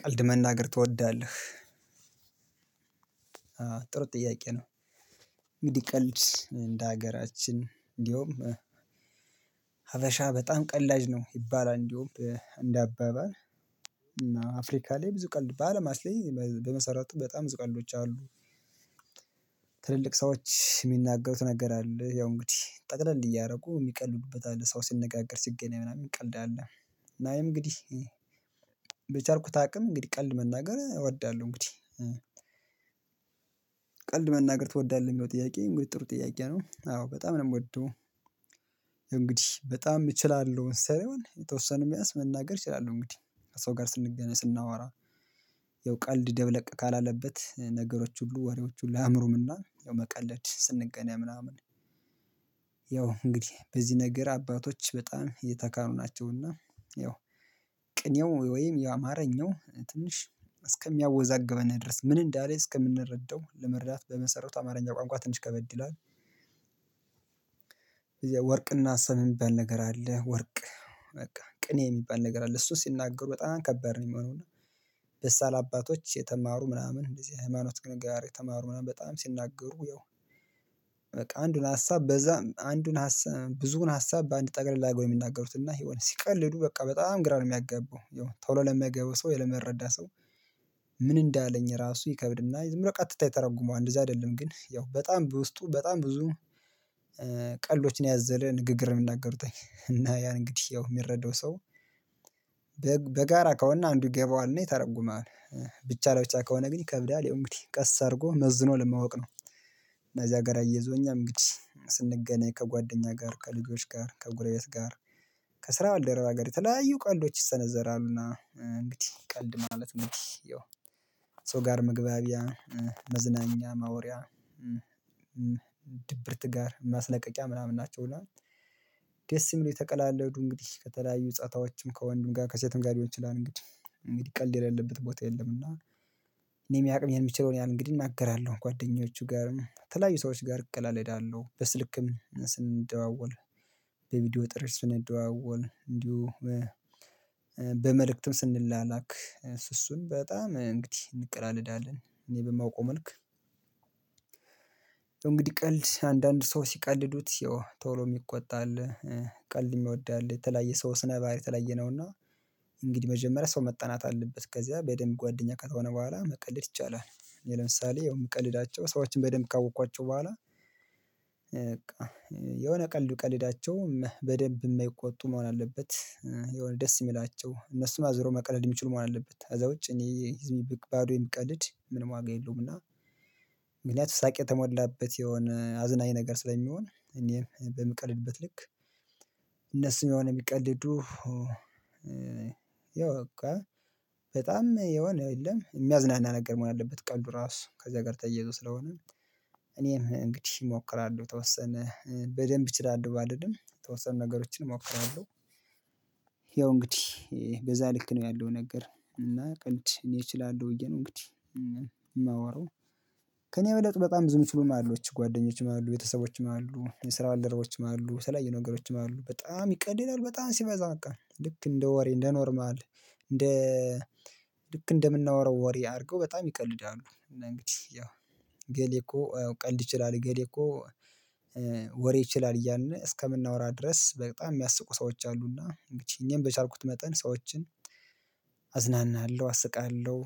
ቀልድ መናገር ትወዳለህ? ጥያቄ ነው። እንግዲህ ቀልድ እንደ ሀገራችን እንዲሁም ሀበሻ በጣም ቀላጅ ነው ይባላል እንደውም እንደ አባባል እና አፍሪካ ላይ ብዙ ቀልድ በአለማት በመሰረቱ በጣም ብዙ ቀልዶች አሉ። ትልልቅ ሰዎች የሚናገሩት ነገር አለ ያው እንግዲህ ጠቅለል እያደረጉ የሚቀልዱበት አለ ሰው ሲነጋገር ሲገናኝ ምናምን የሚቀልድ አለ። ናይ እንግዲህ በቻርኩት አቅም እንግዲህ ቀልድ መናገር እወዳለሁ። እንግዲህ ቀልድ መናገር ትወዳለህ የሚለው ጥያቄ? እንግዲህ ጥሩ ጥያቄ ነው አዎ በጣም ነው የምወደው። እንግዲህ በጣም እችላለሁ ሳይሆን የተወሰነ ቢያንስ መናገር እችላለሁ እንግዲህ ሰው ጋር ስንገናኝ ስናወራ። ያው ቀልድ ደብለቅ ካላለበት ነገሮች ሁሉ ወሬዎች ሁሉ አእምሮምና ያው መቀለድ ስንገናኝ ምናምን። ያው እንግዲህ በዚህ ነገር አባቶች በጣም የተካኑ ናቸውና ያው ቅኔው ወይም የአማርኛው ትንሽ እስከሚያወዛግበን ድረስ ምን እንዳለ እስከምንረዳው ለመረዳት በመሰረቱ አማርኛ ቋንቋ ትንሽ ከበድ። ይላል ወርቅና ሰም የሚባል ነገር አለ። ወርቅ በቃ ቅኔ የሚባል ነገር አለ እሱ ሲናገሩ በጣም ከባድ ነው የሚሆነው። እና አባቶች የተማሩ ምናምን እንደዚህ ህመናውት ግን ጋር የተማሩ ምናምን በጣም ሲናገሩ ያው በቃ አንዱን ሀሳብ በዛ አንዱን ብዙውን ሀሳብ በአንድ ጠገለላ ጎይ የሚናገሩት እና የሆነ ሲቀልዱ በቃ በጣም ግራ ነው የሚያገበው። ቶሎ ለሚያገበው ሰው ለመረዳት ሰው ምን እንዳለኝ ራሱ ይከብድና ዝም ብለህ ቀጥታ ይተረጉመዋል እንደዚህ አይደለም ግን ያው በጣም በውስጡ በጣም ብዙ። ቀልዶች ያዘለ ንግግር የምናገሩት እና ያን እንግዲህ ያው የሚረዳው ሰው። በጋራ ከሆነ አንዱ ይገባዋልና ይተረጉማል ብቻ ላይ ብቻ ከሆነ ግን ይከብዳል። ያው እንግዲህ ቀስ አድርጎ መዝኖ ለማወቅ ነው። እና እዚያ ጋር አየዞኛ እንግዲህ ስንገናኝ ከጓደኛ ጋር ከልጆች ጋር ከጉረቤት ጋር ከስራ ባልደረባ ጋር የተለያዩ ቀልዶች ይሰነዘራሉና። እንግዲህ ቀልድ ማለት ነው የው ከሰው ጋር መግባቢያ መዝናኛ ማውሪያ ድብርት ጋር ማስለቀቂያ ምናምን ናቸው። እና ደስ ይምለው ተቀላለው ዱንጊ ከተለያዩ ጸታዎችም ከወንድም ጋር ከሴትም ጋር ሊሆን ይችላል እንግዲህ እንግዲህ ቀልድ የሌለበት ቦታ የለም። እና እኔ የቅሜ የሚችለውን ያን እንግዲህ እናገራለሁ ጓደኞቹ ጋር ተለያዩ ሰዎች ጋር እቀላለዳለሁ እሄዳለሁ በስልክም ስንደዋወል በቪዲዮ ጥሪ ስንደዋወል እንዲሁም በመልእክትም ስንላላክ እሱእሱን በጣም እንግዲህ እንቀላለዳለን እኔ በማውቀው መልክ። እንግዲህ ቀልድ አንዳንድ ሰው ሲቀልዱት ቶሎ የሚቆጣ አለ። ቀልድ የሚወድ አለ የተለያየ ሰው ስነ ባህሪ የተለያየ ነውና። እንግዲህ መጀመሪያ ሰው መጠናት አለበት ከዚያ በደንብ ጓደኛ ከሆነ በኋላ መቀለድ ይቻላል። ለምሳሌ የምቀልዳቸው ሰዎችን በደንብ ካወቅኳቸው በኋላ። የሆነ ቀልዱ ቀልዳቸውም በደንብ የማይቆጡ መሆን አለበት። የሆነ ደስ የሚላቸው እነሱን አዙረው መቀለድ የሚችሉ መሆን አለበት። ከዛ ውጭ እኔ ዝም ባዶ የምቀልድ ምንም ዋጋ የለውም። እና ምክንያቱም ሳቅ የተሞላበት የሆነ አዝናኝ ነገር ስለሚሆን እኔም በምቀልድበት ልክ እነሱም የሆነ የሚቀልዱ ያው በቃ በጣም የሆነ የለም የሚያዝናና ነገር መሆን አለበት ቀልዱ ራሱ ከዛ ጋር ተየዘው ስለሆነ። እኔም እንግዲህ እሞክራለሁ ተወሰነ በደንብ እችላለሁ ባልልም የተወሰኑ ነገሮችን እሞክራለሁ። ያው እንግዲህ በዛ ልክ ነው ያለው ነገር እና ቀልድ እኔ እችላለሁ ብዬ ነው እንግዲህ የማወራው። ከእኔ ወደ ጥበቃ ብዙም ትሉም አሉ ጓደኞችም አሉት ቤተሰቦችም አሉት የስራ አልደረቦችም አሉት የተለያየ ነገሮችም አሉት በጣም ይቀድላል በጣም ሲበዛ በቃ ልክ እንደ ወሬ እንደ ኖርማል። እንደ ልክ እንደምናወራው ወሬ አድርገው በጣም ይቀልዳሉ እንደን እንግዲህ ያው እገሌ እኮ ቀልድ ይችላል እገሌ እኮ ወሬ ይችላል እያልን እስከምናወራ ድረስ በጣም የሚያስቁ ሰዎች አሉና እንግዲህ እኛም በቻልኩት መጠን ሰዎችን አዝናናለሁ አስቃለሁ።